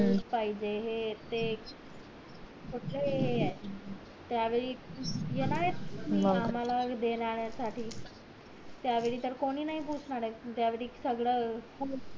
juice पाहिजे हे ते कुठले हे आहेत त्या वेळी येणार कि आम्हला देण्या साठी त्या वेळी त कोण नाही पुचणार येत ज्या वेळी सगळं